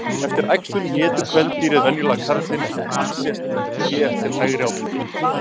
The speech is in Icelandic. Eftir æxlun étur kvendýrið venjulega karlinn en hann sést hér til hægri á myndinni.